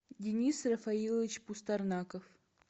денис рафаилович пустарнаков